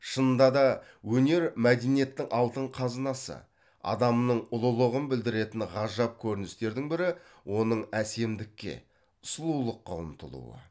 шынында да өнер мәдениеттің алтын қазынасы адамның ұлылығын білдіретін ғажап көріністердің бірі оның әсемдікке сұлулыққа ұмтылуы